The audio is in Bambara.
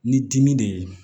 Ni dimi de ye